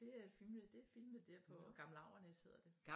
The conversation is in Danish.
Det er filmet det filmet der på Gammel Avernæs hedder det